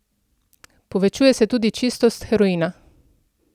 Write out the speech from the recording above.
Povečuje se tudi čistost heroina.